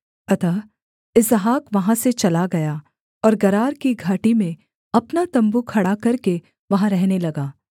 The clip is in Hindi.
अतः इसहाक वहाँ से चला गया और गरार की घाटी में अपना तम्बू खड़ा करके वहाँ रहने लगा